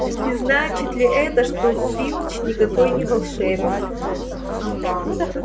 не значит ли это что филч никакой не волшебник